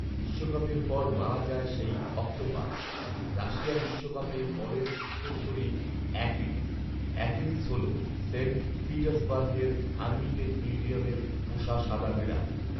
বিশ্বকাপের পর মারা যায় সেই অক্টোপাস৷ রাশিয়া বিশ্বকাপে পলের উত্তরসূরি অ্যাকিলিস৷ অ্যাকিলিস হল সেন্ট পিটার্সবার্গের হার্মিটেজ মিউজিয়ামের পোষা সাদা বিড়াল৷